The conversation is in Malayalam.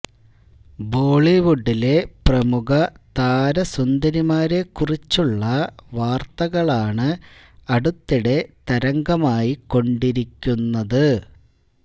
ബോളിവുഡിലെ പ്രമുഖ താരസുന്ദരിമാരെ കുറിച്ചുള്ള വാര്ത്തകളാണ് അടുത്തിടെ തരംഗമായി കൊണ്ടിരിക്കുന്നത്